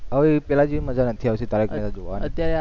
હવે પેલા જેવી મજા નથી આવતી તારક મહેતા જોવાની,